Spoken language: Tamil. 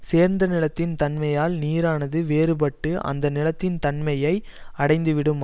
சேர்ந்த நிலத்தின் தன்மையால் நீரானது வேறுபட்டு அந்த நிலத்தின் தன்மையை அடைந்து விடும்